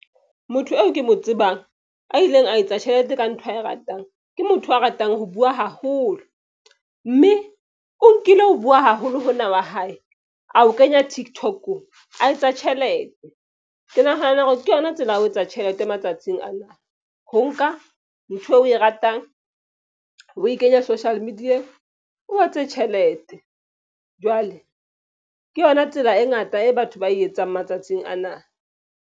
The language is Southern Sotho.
Motho eo ke mo tsebang a ileng a etsa tjhelete ka ntho ae ratang, ke motho a ratang ho bua haholo. Mme o nkile ho bua haholo hona wa hae a o kenya Tiktok-ong, a etsa tjhelete. Ke nahana hore ke yona tsela ya ho etsa tjhelete matsatsing ana. Ho nka ntho eo o e ratang o e kenye social media-ng. O etse tjhelete jwale ke yona tsela e ngata e batho ba e etsang matsatsing ana.